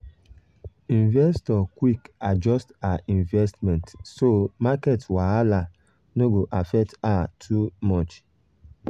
investor quick adjust her investment so market wahala no go affect her too much.